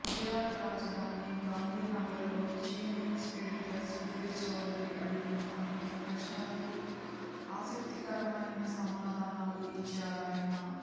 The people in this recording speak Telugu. గుజరాత్ రాజధాని గాంధీనగర్లో జీ న్యూస్ ఎడిటర్ సుధీర్ చౌదరి అడిగిన అనేక ప్రశ్నలకు ఆసక్తికరమైన సమాధానాలు ఇచ్చారాయన